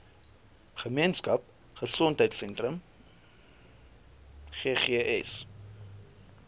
gemeenskap gesondheidsentrum ggs